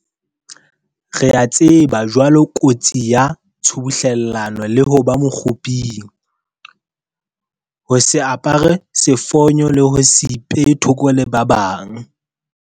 Re a tseba jwale kotsi ya tshubuhlellano le ho ba mokguping, ho se apare sefonyo le ho se ipehe thoko le ba bang.